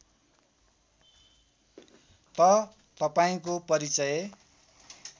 त तपाईँको परिचय